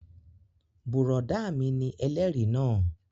Bùrọ̀dá mi ni ẹlẹ́rìí náà